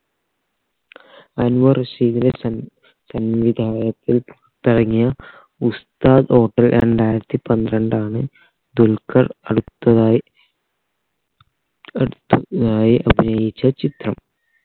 അൻവർ റഷീദിലെ സം സംവിധാനത്തിൽ തഴങ്ങിയ ഉസ്താദ് hotel രണ്ടായിരത്തി പന്ത്രണ്ടാണ് ദുൽഖർ അടുത്തതായി അടുത്തതായി അഭിനയിച്ച ചിത്രം